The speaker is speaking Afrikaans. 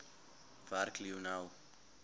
werk lionel